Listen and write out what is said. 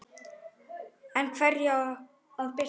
En hverju á að bylta?